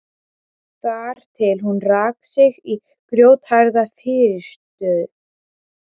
Þar til hún rak sig í grjótharða fyrirstöðu.